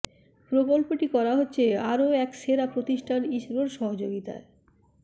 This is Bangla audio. প্রকল্পটি করা হচ্ছে আরও এক সেরা প্রতিষ্ঠান ইসরোর সহযোগিতায়